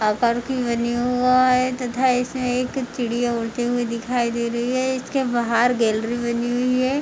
आकार की बनी हुआ है तथा इसमें एक चिडि़या उड़ती हुई दिखाई दे रही है इसके बाहर गैलरी बनी हुई है।